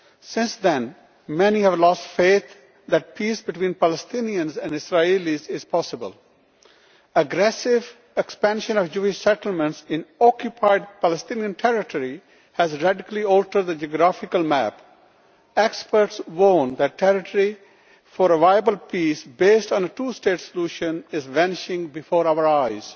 Since then many have lost faith that peace between Palestinians and Israelis is possible. Aggressive expansion of Jewish settlements in occupied Palestinian territory has radically altered the geographical map. Experts warn that territory for a viable peace based on a two state solution is vanishing before our eyes.